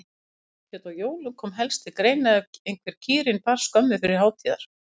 Kálfskjöt á jólum kom helst til greina ef einhver kýrin bar skömmu fyrir hátíðar.